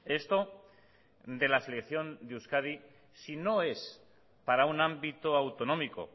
esto de la selección de euskadi si no es para un ámbito autonómico